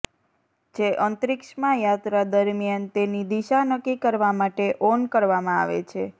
જે અંતરિક્ષમાં યાત્રા દરમિયાન તેની દિશા નક્કી કરવા માટે ઓન કરવામાં આવે છે